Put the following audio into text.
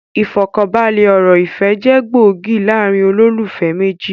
Ifọkanbalẹ ọ̀rọ̀ ìfẹ́ jẹ gbòógì láàrín olólùfẹ́ méjì